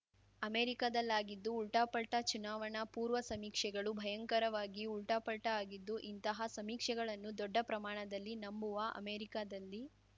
ಅಮೆರಿಕದಲ್ಲಾಗಿದ್ದು ಉಲ್ಟಾಪಲ್ಟಾ ಚುನಾವಣಾ ಪೂರ್ವ ಸಮೀಕ್ಷೆಗಳು ಭಯಂಕರವಾಗಿ ಉಲ್ಟಾಪಲ್ಟಾಆಗಿದ್ದು ಇಂತಹ ಸಮೀಕ್ಷೆಗಳನ್ನು ದೊಡ್ಡ ಪ್ರಮಾಣದಲ್ಲಿ ನಂಬುವ ಅಮೆರಿಕದಲ್ಲಿ